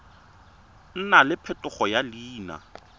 nna le phetogo ya leina